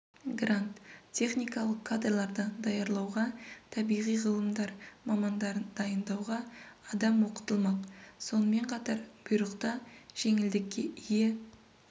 грант техникалық кадрларды даярлауға табиғи ғылымдар мамандарын дайындауға адам оқытылмақ сонымен қатар бұйрықта жеңілдікке ие